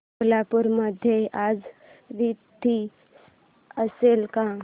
सोलापूर मध्ये आज थंडी असेल का